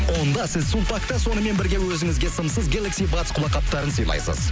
онда сіз сулпакта сонымен бірге өзіңізге сымсыз гелакси батс құлаққапттарын сыйлайсыз